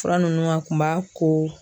Fura ninnu kun b'a ko